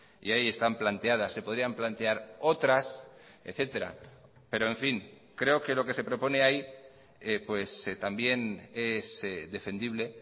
y ahí están planteadas se podrían plantear otras etcétera pero en fin creo que lo que se propone ahí pues también es defendible